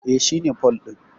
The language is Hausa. E, shi ne pole din.